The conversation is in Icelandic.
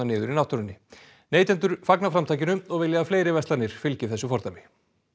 niður í náttúrunni neytendur fagna framtakinu og vilja að fleiri verslanir fylgi þessu fordæmi